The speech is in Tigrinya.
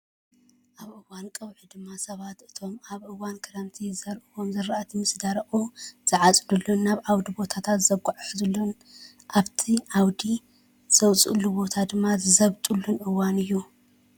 ኣብ እዋን ቀውዒ ድማ ሰባት እቶም ኣብ እዋን ክረምቲ ዝዘርእዎም ዝራእቲ ምስ ደረቁ ዝዓፅድሉን ናብ ዓውዲ ቦታታት ዘጓዓዓዝሉን ኣብቲ ዓውዲ ዝወፅኣሉ ቦታ ድማ ዝዘብጥሉን እዋን እዩ።